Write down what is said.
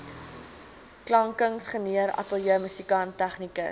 klankingenieur ateljeemusikant tegnikus